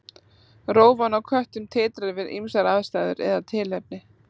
Rófan á köttum titrar við ýmsar aðstæður eða tilefni.